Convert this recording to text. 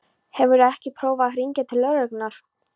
Hefurðu ekki prófað að hringja til lögreglunnar?